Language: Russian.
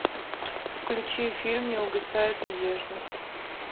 включи фильм не угасает надежда